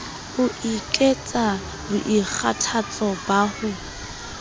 ho ekets boikgathatso ba ho